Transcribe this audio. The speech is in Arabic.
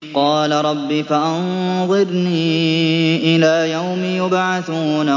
قَالَ رَبِّ فَأَنظِرْنِي إِلَىٰ يَوْمِ يُبْعَثُونَ